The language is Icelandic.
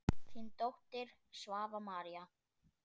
Þín dóttir, Svava María.